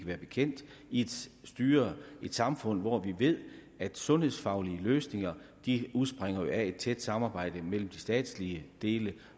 være bekendt i et samfund hvor vi ved at sundhedsfaglige løsninger udspringer af et tæt samarbejde mellem de statslige dele